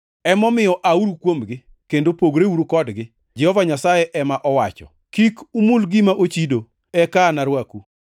Emomiyo, “Auru kuomgi kendo pogreuru kodgi, Jehova Nyasaye ema owacho. Kik umul gima ochido, eka anarwaku.” + 6:17 \+xt Isa 52:11; Eze 20:34,41\+xt*